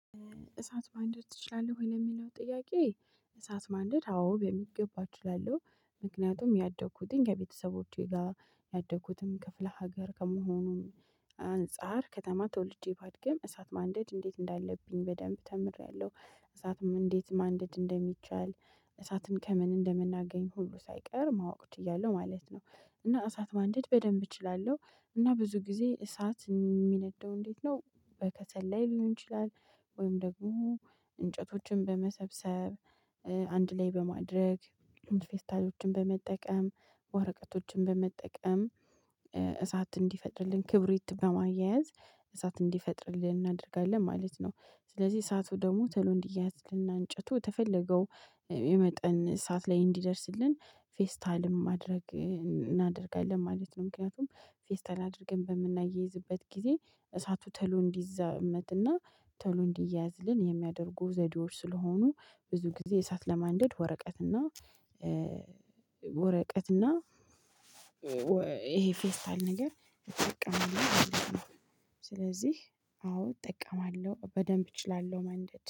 እሳት ማንደድ ትችላለህ ወይ? ለሚለው ጥያቄ እሳት ማንደድ አዎ በሚገባ እችላለሁ ምክንያቱም ያደኩትኝ ከቤተሰቦቼ ጋር ያደግኩትም ክፍለ ሀገር ከመሆኑም አንፃር ከተማ ተወልጄ ባድገም እሳት ማንደድ እንዴት እንዳለብኝ በደንብ ተምሬያለሁ። እሳትም እንዴት ማንደድ እንደሚቻል እሳትን ከምን እንደምናገኝ ሁሉ ሳይቀር ማወቅ ችያለሁ ማለት ነው። እና እሳት ማንደድ በደንብ እችላለሁ እና ብዙ ጊዜ እሳት የሚነደው እንዴት ነው? በከሰል ላይ ሊሆን ይችላል። ወይም ደግሞ እንጨቶችን በመሰብሰብ አንድ ላይ በማድረግ ፌስታሎችን በመጠቀም ወረቀቶችን በመጠቀም እሳት እንዲፈጥርልን ክብሪት በማያያዝ እሳት እንዲፈጥርልን እናደርጋለን ማለት ነው። ስለዚህ እሳቱ ደግሞ ቶሎ እንዲያያዝልን እንጨቱ የተፈለገው የመጠን ሰዓት ላይ እንዲደርስልን ፌስታልም ማድረግ እናደርጋለን ማለት ነው። ምክንያቱም ፌስታል አድርገን በምናያይዝበት ጊዜ እሳቱ ቶሎ እንዲዛመትና ቶሎ እንዲያያዝልን የሚያደርጉ ዘዴዎች ስለሆኑ ብዙ ጊዜ እሳት ለማንደድ ወረቀት እና ወረቀት እና ይሄ ፌስታል ነገር እጠቀማለሁ። ስለዚህ አዎ እጠቀማለሁ በደንብ እችላለሁ ማንደድ